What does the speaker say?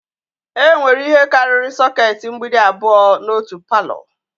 Enwere ihe karịrị sokèti mgbidi abụọ n'otu palọ